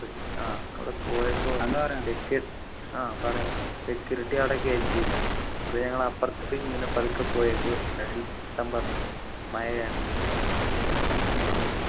ആഹ് അവിടെ പോയപ്പോ ആഹ് പറയാ security അവിടെ കേറ്റിയില്ല അപ്പൊ ഞങ്ങള് അപ്പർത്ത് കൂടെ ഇങ്ങനെ പതുക്കെ പോയിട്ട് പറഞ്ഞു മഴയാണ്